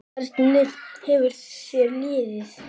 Hvernig hefur þér liðið?